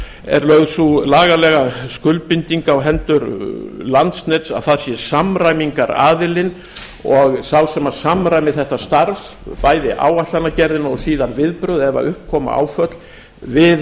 er lögð sú lagalega skuldbinding á hendur landsnets að það sé samræmingaraðili og sá sem samræmi þetta starf bæði áætlanagerðina og síðan viðbrögð ef upp koma áföll við